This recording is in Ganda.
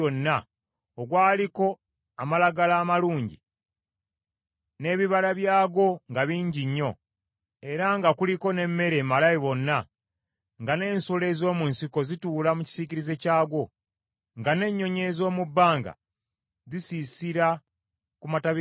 ogwaliko amalagala amalungi n’ebibala byagwo nga bingi nnyo, era nga guliko n’emmere emala bonna, nga n’ensolo ez’omu nsiko zituula mu kisiikirize kyagwo, nga n’ennyonyi ez’omu bbanga zisiisira ku matabi gaagwo,